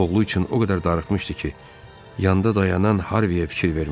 Oğlu üçün o qədər darıxmışdı ki, yanda dayanan Harviyə fikir vermədi.